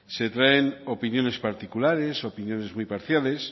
se traen opiniones particulares opiniones muy parciales